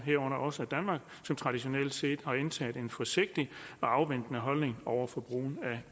herunder også danmark som traditionelt set har indtaget en forsigtig afventende holdning over for brugen af